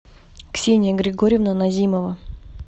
ксения григорьевна назимова